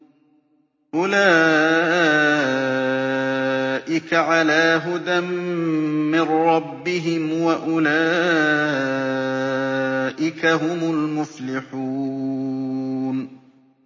أُولَٰئِكَ عَلَىٰ هُدًى مِّن رَّبِّهِمْ ۖ وَأُولَٰئِكَ هُمُ الْمُفْلِحُونَ